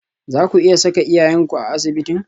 Zaku iya saka iyayenku a asibitin?